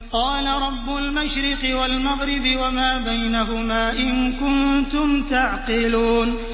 قَالَ رَبُّ الْمَشْرِقِ وَالْمَغْرِبِ وَمَا بَيْنَهُمَا ۖ إِن كُنتُمْ تَعْقِلُونَ